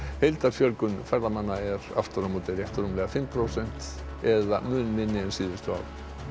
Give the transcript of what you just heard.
heildarfjölgun ferðamanna er aftur á móti rétt rúmlega fimm prósent eða mun minni en síðustu ár